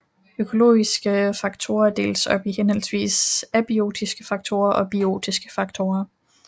Økologiske faktorer deles op i henholdsvis abiotiske faktorer og biotiske faktorer